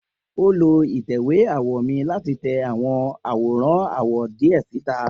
O lo itẹ̀wé awọ mi lati tẹ awọn aworan awọ diẹ sita.